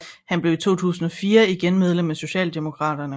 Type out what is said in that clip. Han blev i 2004 igen medlem af Socialdemokraterne